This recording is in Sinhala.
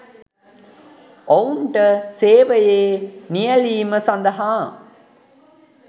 ඔවුන්ට සේවයේ නියැළීම සඳහා